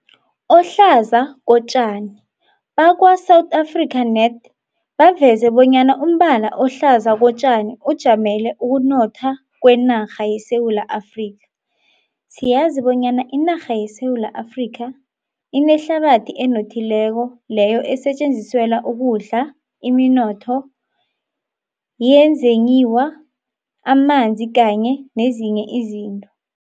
Ohlaza kotjani. Bakwa-South Afrika Net baveze bonyana umbala ohlaza kotjani ujamele ukunotha kwenarha yeSewula Afrika. Siyazi bonyana inarha yeSewula Afrika inehlabathi enothileko leyo esetjenziselwa ukudla, iminotho yezenyiwa, amanzi kanye nezinye izinto.